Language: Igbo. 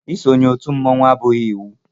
Isonye otú mmọnwu abụghị iwu.